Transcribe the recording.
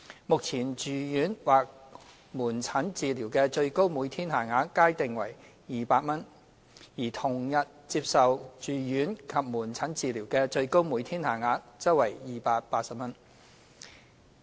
目前，住院或門診治療的最高每天限額皆定為200元，而同日接受住院及門診治療的最高每天限額則定為280元。